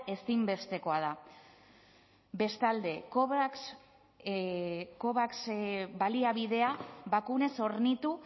ezinbestekoa da bestalde covax baliabidea bakunaz hornitu